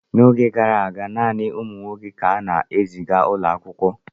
N’oge gara aga, naanị ụmụ nwoke ka a na-eziga ụlọ akwụkwọ.